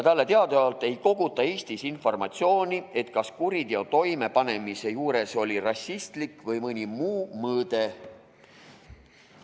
Talle teadaolevalt ei koguta Eestis informatsiooni, kas kuriteo toimepanemise juures oli rassistlik või mõni muu mõõde.